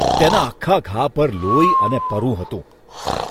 તેના આખા ઘા પર લોહી અને પરુ હતું.